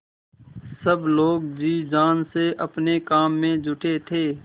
सब लोग जी जान से अपने काम में जुटे थे